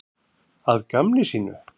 Að gamni sínu?